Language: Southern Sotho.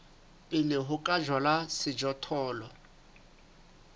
pele ho ka jalwa sejothollo